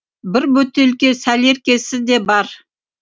бір бөтелке сәлеркесі де бар